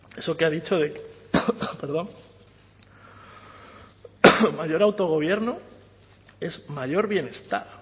eso que ha dicho de mayor autogobierno es mayor bienestar